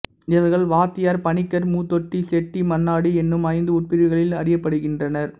இவர்கள் வாத்தியார் பணிக்கர் மூத்தோட்டி செட்டி மன்னாடி எனும் ஐந்து உட்பிரிவுகளில் அறியப்படுகின்றனர்